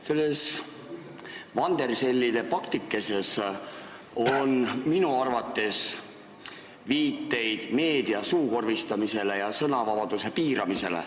Selles vandersellide paktikeses on minu arvates viiteid meedia suukorvistamisele ja sõnavabaduse piiramisele.